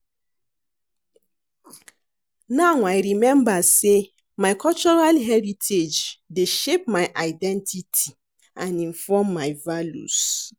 Now I remember say my cultural heritage dey shape my identity and inform my values.